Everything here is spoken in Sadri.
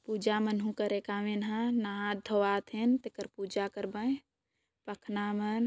पुजा मन हु करेक आवेना नहात धोवात थे तेकर पुजा करबेय पखना मन